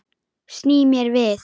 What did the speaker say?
Sný mér við.